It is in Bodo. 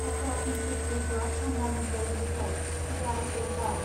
Tata institute of fundamental research T I F R